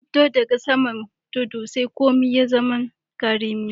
Na dubba da ga saman tudu sai komi ya zama karemi.